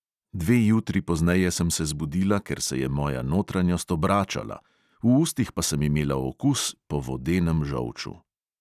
Dve jutri pozneje sem se zbudila, ker se je moja notranjost obračala, v ustih pa sem imela okus po vodenem žolču.